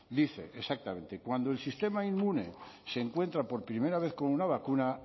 dice exactamente cuando el sistema inmune se encuentra por primera vez con una vacuna